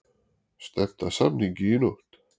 Stefnt að samningi í nótt